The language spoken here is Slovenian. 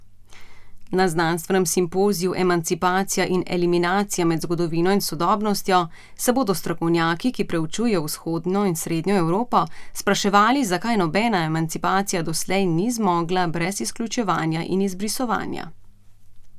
Na znanstvenem simpoziju Emancipacija in eliminacija med zgodovino in sodobnostjo se bodo strokovnjaki, ki preučujejo Vzhodno in Srednjo Evropo, spraševali, zakaj nobena emancipacija doslej ni zmogla brez izključevanja in izbrisovanja.